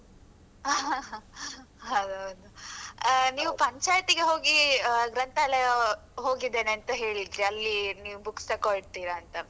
ಹೌದು ಹೌದು ನೀವು ಪಂಚಾಯ್ತಿಗೆ ಹೋಗಿ ಅಹ್ ಗ್ರಂಥಾಲಯ ಹೋಗಿದ್ದೇನೆ ಅಂತ ಹೇಳಿದ್ರಿ, ಅಲ್ಲಿ ನೀವು books ತಗೊಳ್ತಿರ ಅಂತ.